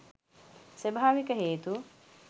ස්වභාවික හේතු